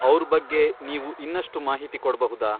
ಅವ್ರ್ ಬಗ್ಗೆ ನೀವು ಇನ್ನಷ್ಟು ಮಾಹಿತಿ ಕೊಡ್ಬಹುದಾ?